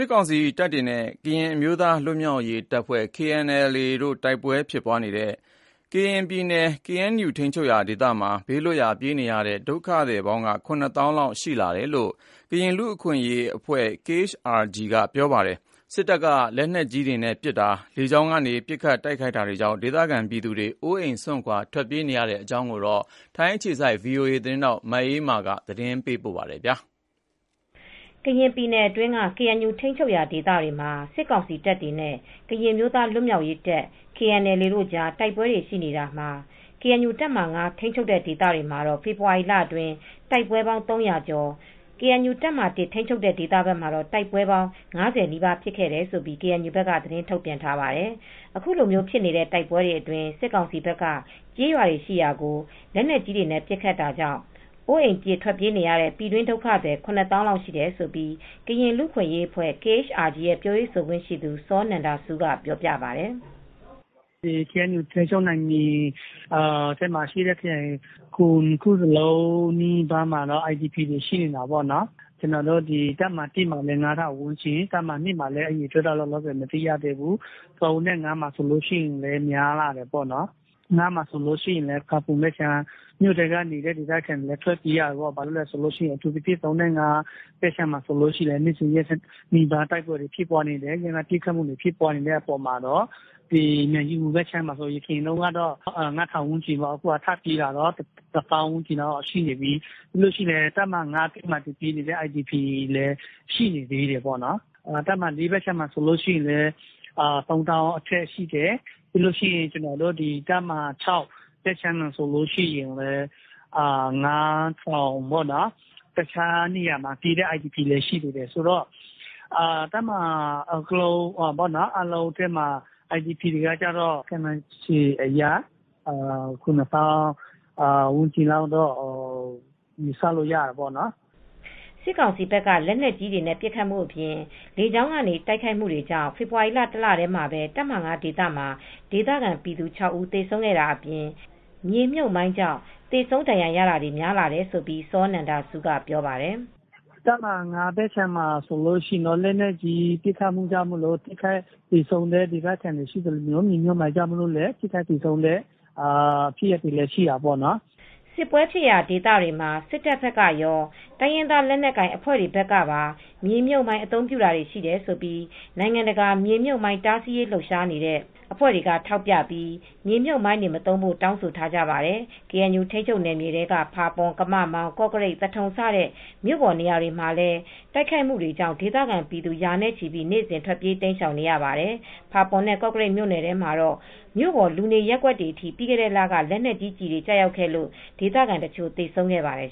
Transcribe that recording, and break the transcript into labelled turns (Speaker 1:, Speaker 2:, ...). Speaker 1: စ်ကောင်စီတပ်တွေနဲ့ ကရင်အမျိုးသားလွတ်မြောက်ရေးတပ် KNLA တို့ တိုက်ပွဲတွေဖြစ်နေတဲ့ ကရင်ပြည်နယ်ထဲက KNU ထိန်းချုပ်ရာ ဒေသတွေက ဘေးလွတ်ရာပြေးနေကြရတဲ့ ဒုက္ခသည် ၇ သောင်းလောက်ရှိနေတယ်လို့ ကရင်လူအခွင့်ရေးအဖွဲ့ KHRG ကပြောပါတယ်။ အဲဒီဒေသတွေအပေါ် စစ်တပ်က လက်နက်ကြီးတွေ၊ လေကြောင်းကနေ ပစ်ခတ်တိုက်ခိုက်နေတာကြောင့် ဒေသခံပြည်သူတွေ အိုးအိမ်ပြစ် ထွက်ပြေးနေကြရတဲ့ အခြေအနေကို ထိုင်းအခြေစိုက် ဗွီအိုအေသတင်းထောက်မအေးအေးမာက သတင်းပေးပို့ထားပါတယ်။
Speaker 2: ကရင်ပြည်နယ်အတွင်းက ကေအန်ယူ ထိမ်းချုပ်ရာဒေသတွေမှာ စစ်ကောင်စီတပ်တွေနဲ့ ကရင်အမျိုးသားလွတ်မြောက်ရေးတပ် KNLA တို့ကြား တိုက်ပွဲတွေရှိနေတာမှာ ကေအန်ယူ တပ်မဟာ (၅) ထိမ်းချုပ်တဲ့ဒေသတွေမှာ ဖေဖေါ်ဝါရီလအတွင်း တိုက်ပွဲပေါင်း ၃ဝဝ၊ တပ်မဟာ (၁) ထိန်းချုပ်တဲ့ဘက်မှာတော့ တပ်ပွဲပေါင်း ၅ဝ နီးပါးဖြစ်ခဲ့တယ်လို့ ကေအန်ယူဘက်က သတင်းထုတ်ပြန်ပါတယ်။ ခုလိုဖြစ်နေတဲ့ တိုက်ပွဲတွေအတွင်း စစ်ကောင်စီတပ်တွေဘက်က ကျေးရွာတွေရှိရာကို လက်နက်ကြီးတွေနဲ့ပစ်ခတ်တာကြောင့် အိုးအိမ်ပြစ် ထွက်ပြေးကြရတဲ့ ပြည်တွင်း ဒုက္ခသည် ၇ သောင်းလောက်ရှိတယ်လို့ ကရင်လူအခွင့်ရေးအဖွဲ့KHRG ရဲ့ ပြောရေးဆိုခွင့်ရှိသူ စောနန္ဒဆူးက ပြောပါတယ်။ " ကေအန်ယ
Speaker 3: ူထိမ်းချုပ်နယ်မြေထဲမှာရှိတဲ့ ခရိုင် ၇ ခုလုံးနီးပါးမှာ IDP ပြည်တွင်းအိုးအိမ်မဲ့ ဒုက္ခသည်တွေရှိတာပေါ့နော်။ တပ်မဟာ ၁ မှာလည်း ၅ ထောင်ဝန်းကျင် တပ်မဟာ၂ ကတော့လောလောဆယ် မသိသေးဘူး။ တပ်မဟာ(၃) နဲ့ (၅) မှာလည်းများလာတယ်ပေါ့နော်။ တပ်မဟာ(၅) ဘက်မှာဆို မြို့ထဲက ဖာပွန်ဘက်ခြမ်းကမြို့ထဲလူတွေလည်း ထွက်ပြေးလာနေကြတယ်။ အထူူးသဖြင့် တပ်မဟာ (၃) နဲ့ (၅) က နေ့စဉ်နီးပါးတိုက်ပွဲတွေလည်းဖြစ်နေတယ်။ အပြန်အလှန်ပစ်ခတ်မူတွေဖြစ်နေတယ်ဆိုတော့ မြိုင်ကြီးငူဘက်မှာလည်း အရင်က ငါးထောင် ခြောက်ထောင်လောက်ကနေ အခုတော့ တသောင်းနီးပါးလောက်ဖြစ်နေပြီ ။ တပ်မဟာ ၅ထဲမှာလည်း IDP တွေရှိနေသေးတယ်။ တပ်မဟာ (၄) ဘက်ခြမ်းမှာလည်း သုံးသောင်းအထက်ရှိတယ်။ တပ်မဟာ (၆) ဘက်မှာ ငါးထောင်ဝန်းကျင် တခြားနေရာဘက်မှာ နေနေတဲ့ ပြည်တွင်းအိုးအိမ်မဲ့ဒုက္ခသည်တွေလည်း ရှိနေသေးတယ်။ တပ်မဟာအာလုံးထဲမှာ IDP တွေက ခုနှစ်သောင်းဝန်းကျင်လောက်ရှိတယ်လို့ ယူဆရတာပေါ့နော်"
Speaker 2: စစ်ကောင်စီဘက်က လက်နက်ကြီးနဲ့ ပစ်ခတ်မူအပြင် လေကြောင်းကနေ တိုက်ခိုက်မူတွေကြောင့် ဖေဖေါ်ဝါရီလ တလထဲမှာပဲ တပ်မဟာ(၅) ဒေသမှာ ဒေသခံပြည်သူ ၆ ဦးသေဆုံးခဲ့တာအပြင် မြေမြှပ်မိုင်းကြောင့်သေဆုံးဒဏ်ရာရတာတွေ များလာတယ်လို့ စောနန္ဒဆူးကပြောပါတယ်။
Speaker 3: "တပ်မဟာ(၅)ဘက်မှာတော့ လက်နက်ကြီးပစ်ခတ်မူတွေကြောင့် ထိခိုက်သေဆုံးမူတွေ ဒေသခံတွေရှိသလို့ မြေမြုပ်မိုင်းကြောင့်လည်း ထိခိုက်သေဆုံးတာတွေရှိနေပါတယ်။
Speaker 2: စစ်ပွဲဖြစ်ရာ ဒေသတွေမှာ စစ်တပ်ဘက်ကရော တိုင်းရင်းသား လက်နက်ကိုင်အဖွဲ့တွေဘက်ပါ မြေမြုပ်မိုင်း အသုံးပြုတာတွေရှိတယ်လို့ နိုင်ငံတကာ မြေမြုပ်မိုင်းတားဆီးရေးလှုပ်ရှားနေတဲ့ အဖွဲ့တွေကထောက်ပြပြီး မြေမြုပ်မိုင်းတွေ မသုံးဖို့ တောင်းဆိုထားကြပါတယ်။ ကေအန်ယူထိမ်းချုပ်နယ်မြေတွေထဲက ဖာပွန်၊ ကမမောင်း၊ ကော့ကရိတ်၊ သထုံစတဲ့ မြို့ပေါ်နေရာတွေမှာလည်း တိုက်ခိုက်မှုတွေကြောင့် ဒေသခံပြည်သူ ရာနဲ့ချီ နေ့စဉ် ထွက်ပြေးတိမ်းရှောင်နေကြရပါတယ်။ ဖာပွန်နဲ့ ကော့ကရိတ်မြို့နယ်တွေထဲမှာ မြို့ပေါ် လူနေရပ်ကွက်တွေအထိ ပြီးခဲ့တဲ့လက လက်နက်ကြီးကျည်တွေ ကျခဲ့လို့ ဒေသခံတချို့ သေဆုံးခဲ့ပါတယ်